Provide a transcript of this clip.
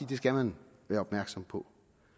det skal man være opmærksom på